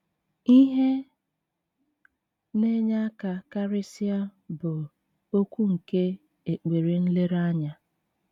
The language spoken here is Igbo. Ihe na-enye aka karịsịa bụ okwu nke ekpere nlereanya.